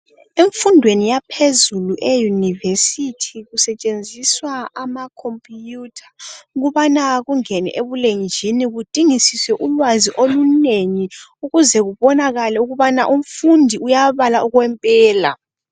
Emfundweni yaphezulu, e-university kusetshenziswa amacomputer. Ukubana kungenwe ebulenjini. Kudingisiswe ulwazi olunengi, ukuze kubonakale ukuthi umfundi uyabala okwempela.